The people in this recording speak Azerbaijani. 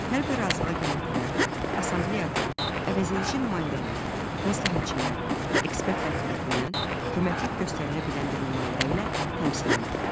Hər bir razılığa gələn tərəf assambleyada əvəzedici nümayəndələr, məsləhətçilər və ekspertlər tərəfindən köməklik verilə bilən bir nümayəndə ilə təmsil olunur.